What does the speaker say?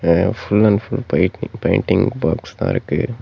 இங்க full and full paint painting பாக்ஸ்தா இருக்கு.